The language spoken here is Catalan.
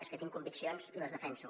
és que tinc conviccions i les defenso